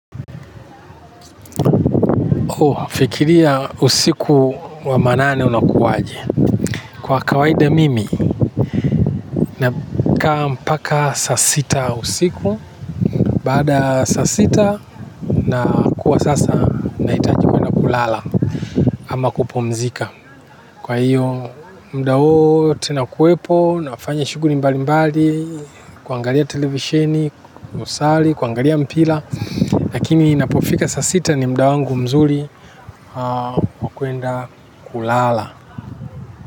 Hufikiria usiku wa manane unakuwaje. Kwa kawaida mimi, nakaa mpaka saa sita usiku. Baada ya saa sita, nakuwa sasa, nahitaji kuenda kulala. Ama kupumzika. Kwa hiyo, muda wote nakuwepo, nafanya shughuli mbali mbali, kuangalia televisheni, kusali, kuangalia mpira. Lakini inapofika saa sita ni muda wangu mzuri. Wa kuenda kulala.